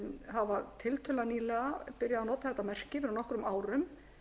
hafa tiltölulega nýlega byrjað að nota þetta merki fyrir nokkrum árum